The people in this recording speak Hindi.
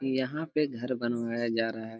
यहां पे घर बनाया जा रहा है।